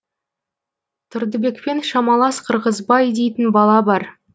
тұрдыбекпен шамалас қырғызбай дейтін бала бар